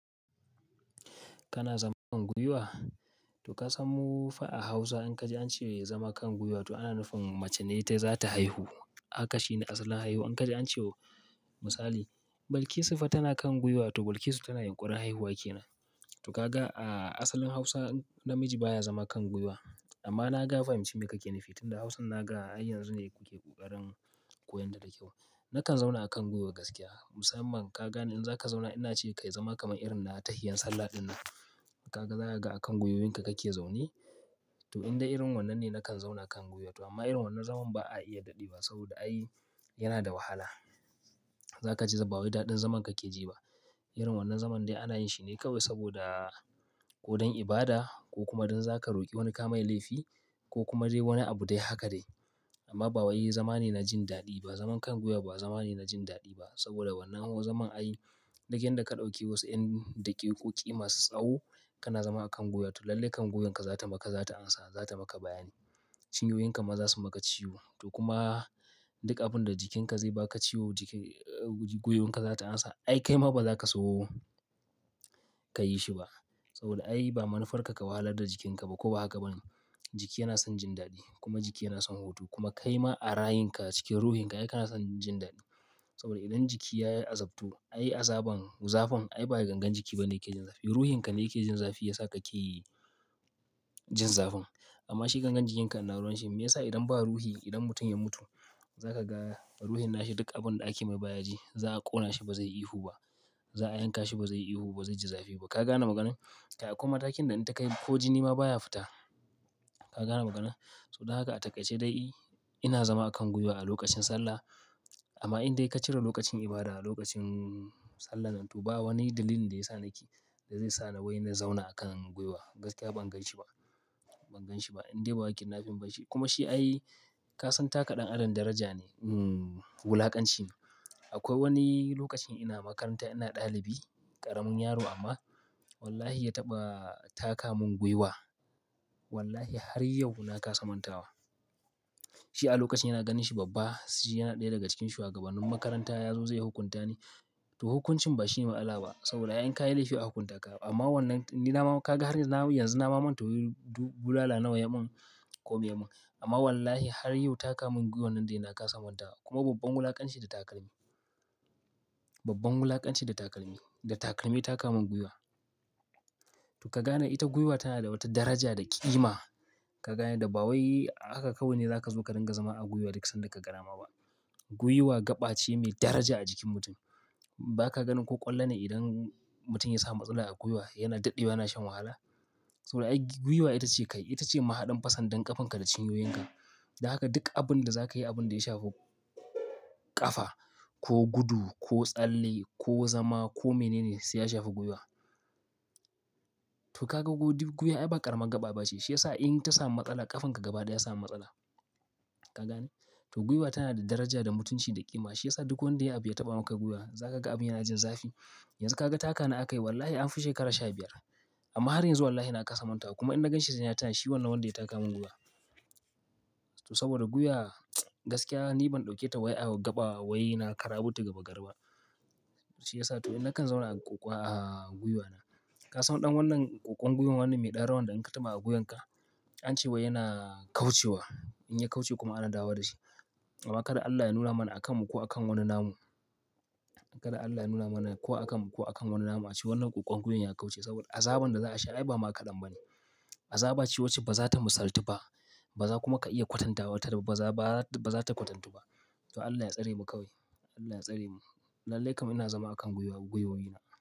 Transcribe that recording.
Kana zama kan gwiwa? To ka san mu fa a Hausa in ka je an ce zama kan gwiwa to ana nufin mace ne ta za ta haihu. Haka shine asalin haihuwa. In ka je an ce misali, "Balkisu fa tana kan gwiwa." To Balkisu tana yin ƙurin haihuwa ke nan. To kaga a asalin Hausa namiji baya zama kan gwiwa. Amma na ga fahimci me kake nufi tunda Hausan na ga har yanzu ne kuke ƙoƙarin koyon ta da kyau. Nakan zauna a kan gwiwa gaskiya. Musamman ka gani in zaka zauna ina ce kayi zama kamar irin na tahiya sallah dinnan. Kaga za ka ga a kan gwiwoyinka kake zaune. To in dai irin wannan ne nakan zauna kan gwiwa amma irin wannan zaman ba a iya daɗe ba saboda ai yana da wahala. Zaka ji ba wai daɗin zaman kake ji ba. Irin wannan zaman dai ana yin shi ne kawai saboda ko don ibada ko kuma don zaka roƙi wani kamai laifi ko kuma dai wani abu dai haka dai. Amma ba wai zama ne na jin daɗi ba. Zaman kan gwiwa ba zama ne na jin daɗi ba saboda wannan ho zaman ai duk yanda ka ɗauki wasu 'yan daƙiƙoƙi masu tsawo kana zama a kan gwiwa to lallai kan gwiwanka za ta maka, za ta amsa, za ta maka bayani. Cinyoyinka ma za su maka ciwo. To kuma duk abin da jikinka zai baka ciwo jiki, gwiwanka za ta amsa. Ai kai ma ba zaka so kayi shi ba. Saboda ai ba manufarka ka wahalar da jikinka ba ko ba haka ba ne? Jiki yana son jin daɗi, kuma jiki yana son hutu, kuma kai ma a rayunka cikin ruhinka ai kana son jin daɗi. Saboda idan jiki ya azabtu, ai azaban, zafin ai ba gangan jiki ba ne yake jin zafi. Ruhinka ne yake jin zafi ya sa ka ke jin zafin. Amma shi gangan jikinka ina ruwan shi. Meyasa idan ba ruhi idan mutum ya mutu, za ka ga ruhin nashi duk abin da ake mai baya ji. Za a ƙona shi ba zai yi ihu ba? Za"a yanka shi ba zai yi ihu ba, ba zai ji zafi ba. Ka gane maganar? Kai akwai mztakin da in takai ko jini ma baya fita. Ka gane maganar? Saboda haka a taƙaice dai ina zama a kan gwiwa a lokacin sallah. Amma in dai ka cire lokacin ibada, lokacin sallah nan to ba wani dalili da ya sa nake, da zai sa wai na zauna a kan gwiwa. Gaskiya ban gan shi ba. Ban gan shi ba. In dai ba ƙindnafin ba, kuma shi ai ka san taka ɗan Adam daraja ne. Hmm wulaƙanci ne. Akwai wani lokacin ina makaranta ina ɗalibi, ƙaramin yaro amma wallahi ya taɓa taka mun gwiwa. Wallahi har yau na kasa manta wa. Shi a lokacin yana ganin shi babba, shi yana ɗaya daga cikin shugabannin makaranta ya zo zai hukunta ni. To hukuncin ba shi ne mat'sala ba, saboda ai in ka yi laifi a hukunta ka. Amma wannan ni na ma ka ga har na yi yanzu na ma manta wai bulala nawa ya mun ko me ya mun. Amma wallahi har yau taka mun gwiwa nan dai na kasa manta. Kuma babban wulaƙanci da takalmi. Babban wulaƙanci da takalmi. Da takalmi ya taka mun gwiwa. To ka gane ita gwiwa tana da wata daraja da ƙima. Ka gane ba wai haka kawai ne za ka zo ka dinga zama a gwiwa duk sanda ka ga dama ba. Gwiwa gaɓa ce mai daraja a jikin mutum. Baka ganin ko ƙwallon ne idan mutum ya samu matsala a gwiwa yana daɗewa yana shan wahala? Saboda ai gwiwa ita ce kai, ita ce mahaɗan fa sandan ƙafanka da cinyoyinka. Domin haka duk abin da za ka yi da ya shafi ƙafa, ko gudu ko tsalle ko zama ko mene ne sai ya shafi gwiwa. To ka ga gwiwaa ai ba ƙaramar gaɓa ba ce. Shiyasa in ta samu matsala ƙafanka gaba dai ya samu matsala. Ka gane? To gwiwa tana da daraja da mutunci da ƙima. Shi ya sa duk wanda ya biya taɓa maka gwiwa za ka ga abin yana jin zafi. Yanzu ka ga takana aka yi wallahi an fi shekara sha biyar. Amma har yanzu wallahi na kasa mantawa, kuma in na gan shi sai na tunashi wannan wanda ya taka mun gwiwa. To saboda gwiwa, gaskiya ni ban dauke ta wai na kallonta gamagari ba shiyasa to na kan zauna a gwiwana. Ka san ɗan wannan ƙwan gwiwan wannan mai ɗan rawan da in ka taɓa a gwiwanka an ce wai yana kaucewa. In ya kauce kuma ana dawwawa da shi. Amma kada Allah ya nuna mana akan mu ko akan wani namu. Kada Allah ya nuna mana ko akan mu ko akan wani nama cewa wannan ƙwan gwiwan ya kauce saboda azaban da za a sha ai ba maƙadan ba ne. Azaba ce wacce ba za ta misaltu ba. Ba za kuma ka iya kwatanta wata raba ba za, ba za, ba za ta kwatantu ba. To Allah ya tsare mu kawai. Allah ya tsare mu. Lallai kam ina zama a kan gwiwa, gwiwoyi na.